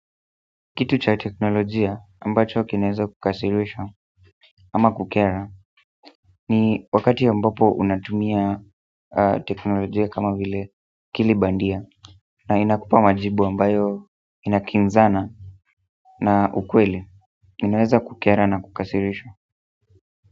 Kitu cha teknolojia ambacho kinaeza kukasirisha ama kukera ni wakati ambapo unatumia teknolojia kama vile akili bandia na inakupa majibu ambayo inakinzana na ukweli inaweza kukera na kukasirisha.